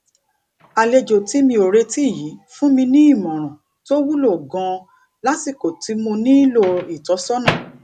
àlejò tí mi ò retí yìí fún mi ní ìmòràn tó wúlò ganan lásìkò tí mo nílò ìtósónà